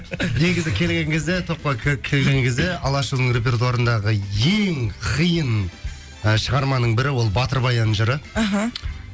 негізі келген кезде топқа келген кезде алашұлының репертуарындағы ең қиын ы шығарманың бірі ол батыр баян жыры аха